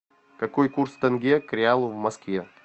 какой курс тенге к реалу в москве